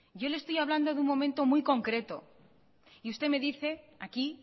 yo le estoy hablando de un momento muy concreto y usted me dice aquí